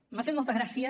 m’ha fet molta gràcia